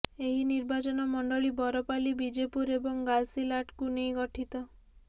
ଏହି ନିର୍ବାଚନମଣ୍ଡଳୀ ବରପାଲି ବିଜେପୁର ଏବଂ ଗାଇସିଲାଟ୍କୁ ନେଇ ଗଠିତ